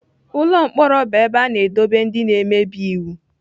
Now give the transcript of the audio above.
Ụlọ mkpọrọ bụ ebe a na-edobe ndị na-emebi iwu.